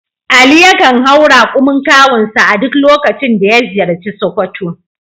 Ali yakan hau rakumin kawunsa a duk lokacin da ya ziyarci Sokoto.